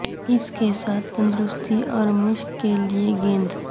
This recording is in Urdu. اس کے ساتھ تندرستی اور مشق کے لئے گیند